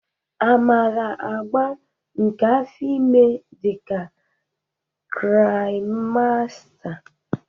A maara agba nke afọ ime dị ka traịmsta.